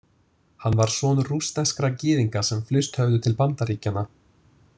Hann var sonur rússneskra gyðinga sem flust höfðu til Bandaríkjanna.